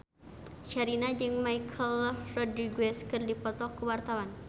Sherina jeung Michelle Rodriguez keur dipoto ku wartawan